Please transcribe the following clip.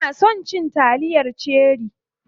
Ina son na ci taliyar cherie.